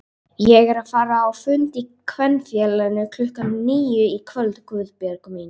Ég er að fara á fund í Kvenfélaginu klukkan níu í kvöld Guðbjörg mín